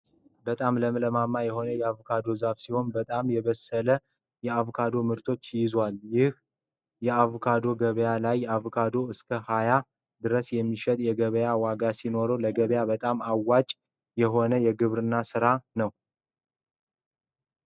በጣም ለማማ የሆነ አቮካዶ ዛፍ ሲሆን በጣም የበሰለ የ አቦካዶ ምርቶችን ይዙዋል ። ይህ አቮካዶ ገበያ ላይ አቮካዶ እስከ 20 ድረስ የሚሸጥበት የገበያ ዋጋ ሲኖረው ለገበያ በጣም አዋጭ የሆነ የግብርና ስራ ነው።